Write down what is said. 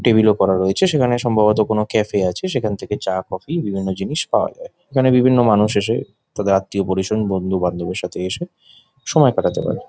টেবিলও করা রয়েছে সেখানে সম্ভবত কোনো ক্যাফে আছে | সেখান থেকে চা কফি বিভিন্ন জিনিস পাওয়া যায় | এখানে বিভিন্ন মানুষ এসে তাদের আত্মীয় পরিজন বন্ধু বান্ধবের সাথে এসে সময় কাটাতে পারে।